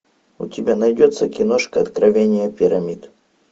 у тебя найдется киношка откровение пирамид